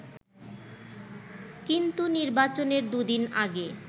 কিন্তু নির্বাচনের দুদিন আগে